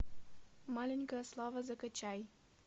маленькая слава закачай